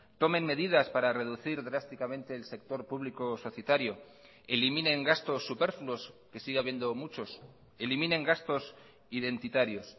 tomen medidas para reducir drásticamente el sector público societario eliminen gastos superfluos que sigue habiendo muchos eliminen gastos identitarios